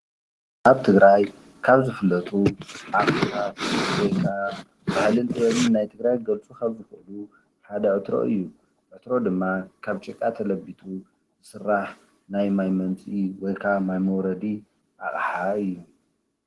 አብ ትግራይ ካብ ዝፍለጡ አቃሓ ወይ ካዓ ባህልን ጥበብን ናይ ትግራይ ክገልፁ ካብ እክእሉ ሓደ ዕትሮ እዩ ዕትሮ ድማ ካብ ጭቃ ተለቢጡ ዝስራሕ ናይ ማይ መምፂኢ እዩ ወይ ከዓ መውረዲ አቃሓ እዩ፡፡